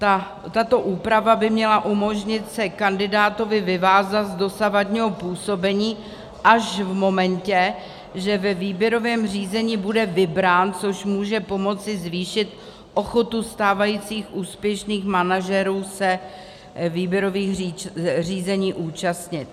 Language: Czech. Tato úprava by měla umožnit se kandidátovi vyvázat z dosavadního působení až v momentě, že ve výběrovém řízení bude vybrán, což může pomoci zvýšit ochotu stávajících úspěšných manažerů se výběrových řízení účastnit.